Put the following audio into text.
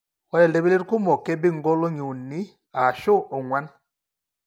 Ore iltipilit kumok kebik inkolong'i uni ashu ong'uan.